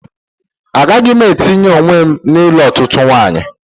Agaghị m etinye onwe m n'ilụ otụtụ nwawnyi